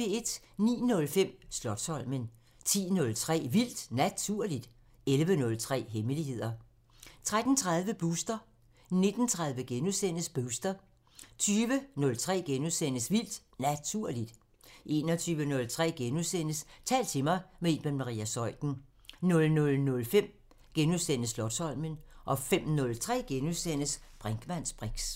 09:05: Slotsholmen 10:03: Vildt Naturligt 11:03: Hemmeligheder 13:30: Booster 19:30: Booster * 20:03: Vildt Naturligt * 21:03: Tal til mig – med Iben Maria Zeuthen * 00:05: Slotsholmen * 05:03: Brinkmanns briks *